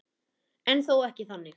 En þó ekki þannig.